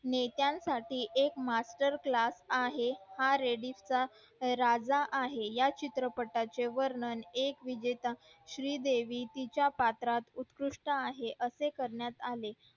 ने त्या साठी एक master class आहे हा रेडिस चा राजा आहे या चित्र पाटाचे वर्णन एक विजेता श्री देवी तिच्या पात्रात उत्कृष्ट आहे असे करण्यात आले